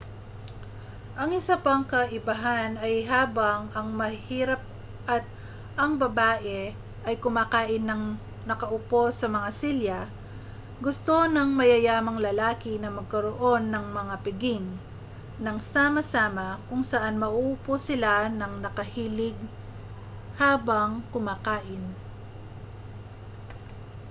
ang isa pang kaibahan ay habang ang mahihirap at ang babae ay kumakain nang nakaupo sa mga silya gusto ng mayayamang lalaki na magkaroon ng mga piging nang sama-sama kung saan mauupo sila nang nakahilig habang kumakain